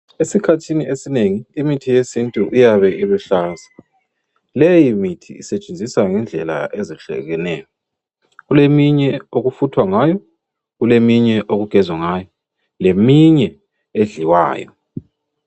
Esikhathini esinengi imithi yesintu iyabe iluhlaza .Leyi mithi esetshenziswa ngendlela ezehlukeneyo. Kuleminye okufuthwa ngayo kuleminye okugezwa ngayo leminye edliwayo.